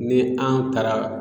Ni an taara